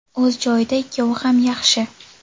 o‘z joyida ikkovi ham yaxshi.